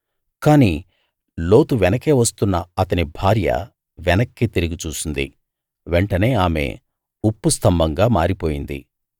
కానీ లోతు వెనుకే వస్తున్న అతని భార్య వెనక్కి తిరిగి చూసింది వెంటనే ఆమె ఉప్పు స్తంభంగా మారిపోయింది